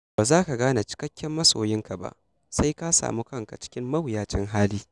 Ba za ka gane cikakken masoyinka ba, sai ka samu kanka cikin mawuyacin hali.